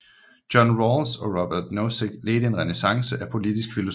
John Rawls og Robert Nozick ledte en renæssance af politisk filosofi